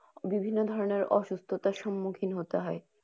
বিভিন্ন ধরনের অসুস্থতার সম্মুখীন হতে হয়।